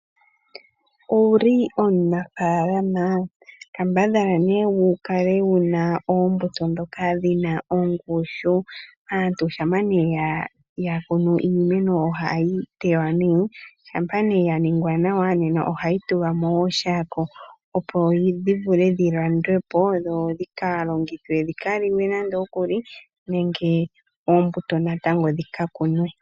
Owuli omunafaalama? Kambadhala nee wukale wuna oombuto ndhoka dhina ongushu. Aantu shampa yakunu iimeno yawo ohayi teywa nee . Shampa nee ya ningwa nawa nena ohayi tulwa mooshako opo dhivule dhi landwepo dho dhi kalongithwe dhi kaliwe nenge dhi kalandithwe po.